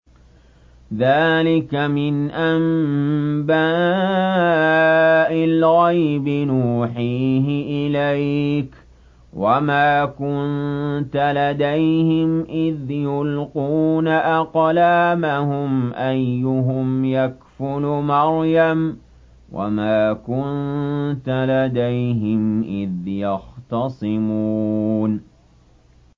ذَٰلِكَ مِنْ أَنبَاءِ الْغَيْبِ نُوحِيهِ إِلَيْكَ ۚ وَمَا كُنتَ لَدَيْهِمْ إِذْ يُلْقُونَ أَقْلَامَهُمْ أَيُّهُمْ يَكْفُلُ مَرْيَمَ وَمَا كُنتَ لَدَيْهِمْ إِذْ يَخْتَصِمُونَ